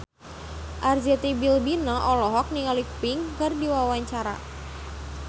Arzetti Bilbina olohok ningali Pink keur diwawancara